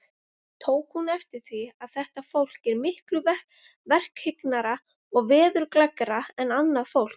Tók hún eftir því, að þetta fólk var miklu verkhyggnara og veðurgleggra en annað fólk.